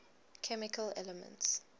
chemical elements